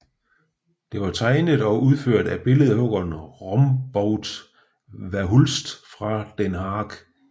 Det var tegnet og udført af billedhuggeren Rombout Verhulst fra den Haag